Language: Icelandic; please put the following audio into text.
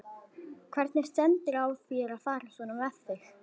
Hvernig stendur á þér að fara svona með þig?